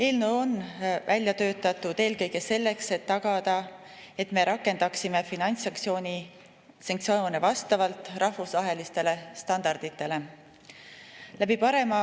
Eelnõu on välja töötatud eelkõige selleks, et tagada, et me rakendaksime finantssanktsioone vastavalt rahvusvahelistele standarditele.